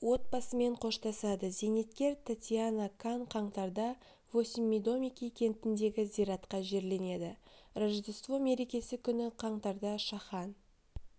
отбасымен қоштасады зейнеткер татьяна кан қаңтарда восмьмидомики кентіндегі зиратқа жерленеді рождество мерекесі күні қаңтарда шахан